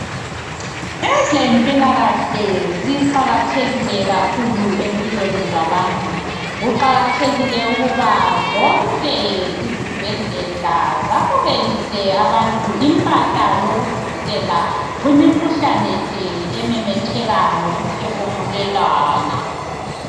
Ezempilakahle ziqakathekile kakhulu empilweni zabantu, kuqakathekile ukuba zonke izibhedlela zamukelise abantu impahla yokuzivikela kumikhuhlane ke ememetheka ngokuphefumulelana.